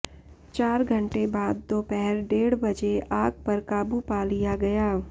चार घंटे बाद दोपहर डेढ़ बजे आग पर काबू पा लिया गया